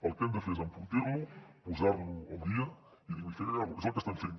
el que hem de fer és enfortir lo posar lo al dia i dignificar lo és el que estem fent